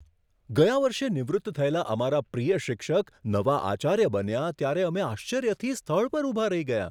ગયા વર્ષે નિવૃત્ત થયેલા અમારા પ્રિય શિક્ષક નવા આચાર્ય બન્યા ત્યારે અમે આશ્ચર્યથી સ્થળ પર ઊભા રહી ગયાં.